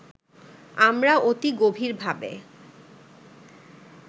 আমরা অতি গভীর ভাবে